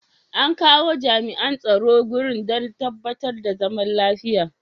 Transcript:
An kawo jami'an tsaro wurin don tabbatar da zaman lafiya.